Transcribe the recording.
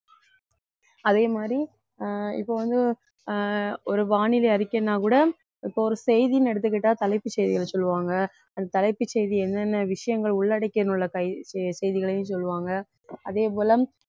அதே மாதிரி அஹ் இப்ப வந்து அஹ் ஒரு வானிலை அறிக்கைன்னா கூட இப்போ ஒரு செய்தின்னு எடுத்துக்கிட்டா தலைப்புச் செய்திகளை சொல்லுவாங்க அந்த தலைப்புச் செய்தி என்னென்ன விஷயங்கள் உள்ளடக்கியுள்ள செய்தி~ செய்திகளையும் சொல்லுவாங்க அதே போல